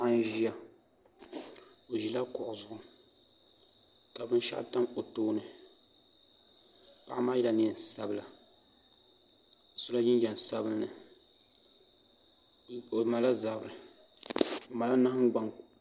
Paɣa n ʒiya o ʒila kuɣu zuɣu ka binshaɣu tam o tooni paɣa maa yɛla neen sabila o sola jinjɛm sabinli o malila zabiri o malila nahangbaŋ